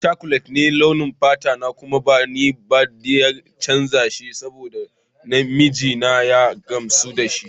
Ni Chocolate ne a launin fata kuma ba ni da niyyar canza shi saboda mijina ya gamsa da shi.